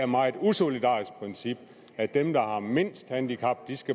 meget usolidarisk princip at dem der har mindst handicap